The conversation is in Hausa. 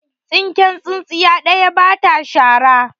Tsinken tsintsiya ɗaya ba ta shara.